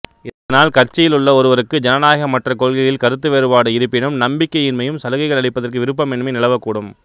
இதனால் கட்சியிலுள்ள ஒருவருக்கு ஜனநாயகமற்ற கொள்கையில் கருத்து வேறுபாடு இருப்பினும் நம்பிக்கையின்மையும் சலுகைகள் அளிப்பதற்கு விருப்பமின்மையும் நிலவக் கூடும்